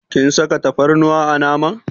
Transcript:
Kin saka tafarnuwa a naman.